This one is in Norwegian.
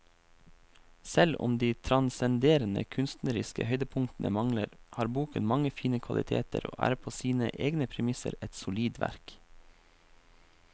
Selv om de transcenderende kunstneriske høydepunktene mangler, har boken mange fine kvaliteter og er på sine egne premisser et solid verk.